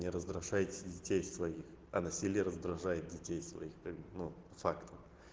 не раздражайте детей своих а насилие раздражает детей своих как бы ну фактом